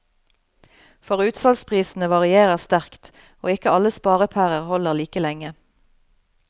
For utsalgsprisene varierer sterkt, og ikke alle sparepærer holder like lenge.